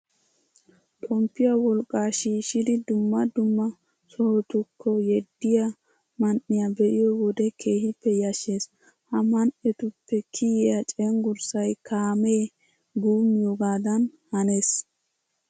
Xomppiya wolqqaa shiishshidi dumma du ma sohotukki yeddiya man"iya be'iyo wode keehippe yashshees. Ha man"etuppe kiyiya cenggurssay kaamee guummiyagaaadan hanees.